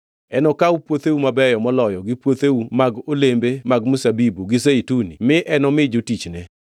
Enokaw puotheu mabeyo moloyo gi puotheu mag olembe mag mzabibu gi zeituni mi enomi jotichne.